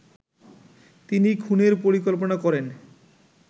তিনি খুনের পরিকল্পনা করেন